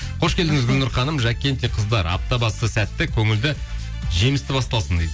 қош келдіңіз гүлнұр ханым жаккенти қыздар апта басы сәтті көңілді жемісті басталсын дейді